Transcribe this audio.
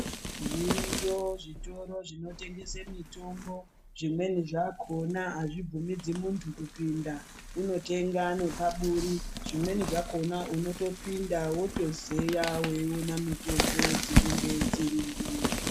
Zviriyo zvitoro zvinotengese mutombo zvimweni zvakona azvibvumidzi muntu kupinda unotenga nepaburi, zvimweni zvakona unotopinda wotozeya weiona mitombo dzinenge dzirimo.